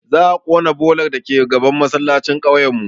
Za a ƙona bolar dake gaban masallacin kauyen mu